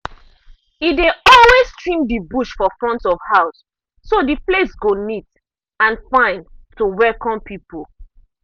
e dey always trim the bush for front of house so the place go neat and fine to welcome people.